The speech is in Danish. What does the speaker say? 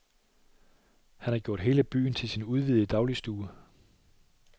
Han har gjort hele byen til sin udvidede dagligstue.